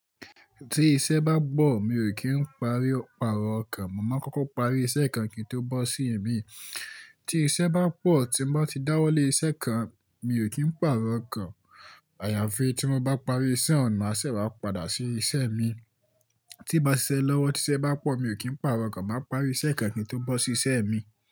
Tí iṣẹ́ bá gbọ̀, mi ò kí ń parí, pàrọ̀ okàn. Mo máa kókó parí iṣẹ́ kan kí n tó bọ́ sí ẹ̀ mi. Tí iṣẹ́ bá pọ̀, tí mo bá ti dáwọ́ lé iṣẹ́ kan, mi ò kí ń pàrọ̀ okàn. Àyàfi tí mo bá parí iṣẹ́ ọ̀un, maa ṣẹ́ wá padà sí iṣẹ́ mi. Tí m bá ṣiṣẹ́ lọ́wọ́, tí iṣẹ́ bá pọ̀, mi ò kí ń pàrọ̀ okàn. Màá parí iṣẹ́ kan kí n tó bọ́ sí iṣẹ́ mi.